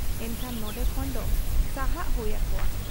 ᱮᱱᱠᱷᱟᱱ ᱱᱚᱱᱰᱮ ᱠᱷᱚᱱ ᱫᱚ ᱥᱟᱦᱟᱜ ᱦᱩᱭ ᱟᱠᱚᱣᱟ ᱾